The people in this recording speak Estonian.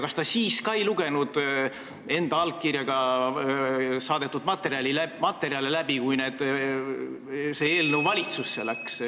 Kas ta siis ka ei lugenud enda allkirjaga saadetud materjale läbi, kui see eelnõu läks valitsusse?